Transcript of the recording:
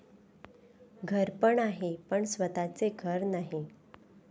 घरपण आहे पण स्वतःचे घर नाही.